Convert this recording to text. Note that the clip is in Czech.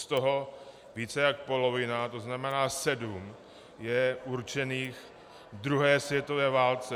Z toho více jak polovina, to znamená sedm, je určených druhé světové válce.